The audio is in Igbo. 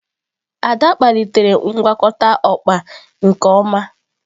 Ada kpalitere ngwakọta okpa nke ọma.